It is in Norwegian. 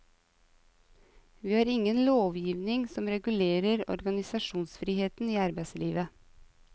Vi har ingen lovgivning som regulerer organisasjonsfriheten i arbeidslivet.